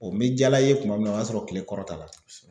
n mɛ Jala ye kuma min na o y'a sɔrɔ kile kɔrɔta la.